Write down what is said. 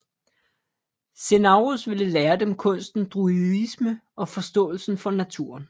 Cenarius ville lære dem kunsten druidisme og forståelsen for naturen